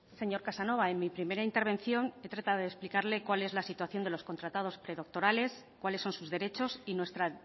señor casanova en mi primera intervención he tratado de explicarle cuál es la situación de los contratados predoctorales cuáles son sus derechos y nuestra